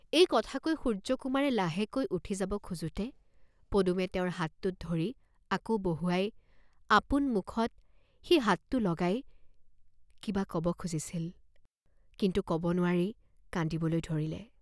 এই কথা কৈ সূৰ্য্যকুমাৰে লাহেকৈ উঠি যাব খোজোঁতে পদুমে তেওঁৰ হাতটোত ধৰি আকৌ বহুৱাই আপোন মুখত সেই হাতটো লগাই কিবা কব খুজিছিল, কিন্তু কব নোৱাৰি কান্দিবলৈ ধৰিলে।